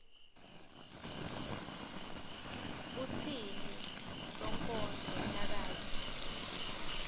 kutsini sonkondlo nakatsi